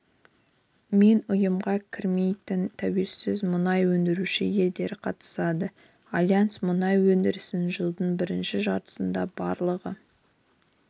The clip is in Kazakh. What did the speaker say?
мен ұйымға кірмейтін тәуелсіз мұнай өндіруші елдер қатысады альянс мұнай өндірісін жылдың бірінші жартысында барлығы